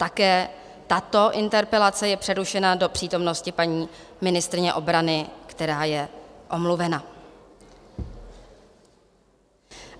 Také tato interpelace je přerušena do přítomnosti paní ministryně obrany, která je omluvena.